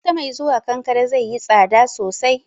Wata mai zuwa, kankare zaiyi tsada sosai